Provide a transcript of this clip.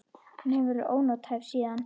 Hún hefur verið ónothæf síðan.